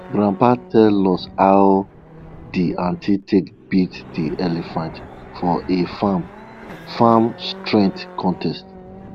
grandpa tell us how de ant take beat de elephant for a farm farm strength contest